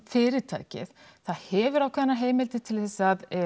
fyrirtækið það hefur ákveðnar heimildir til